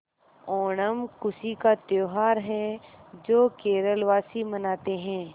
ओणम खुशी का त्यौहार है जो केरल वासी मनाते हैं